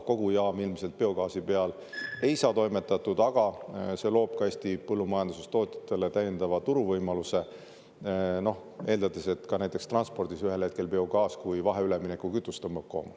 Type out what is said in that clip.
Kogu jaam ilmselt biogaasi peal ei saa toimetada, aga see loob ka Eesti põllumajandustootjatele täiendava turuvõimaluse, eeldades, et ka näiteks transpordis ühel hetkel biogaas kui vahe-, üleminekukütus tõmbab koomale.